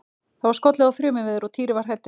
Það var skollið á þrumuveður og Týri var hræddur.